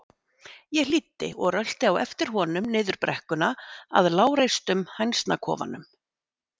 Ég hlýddi og rölti á eftir honum niður brekkuna að lágreistum hænsnakofanum.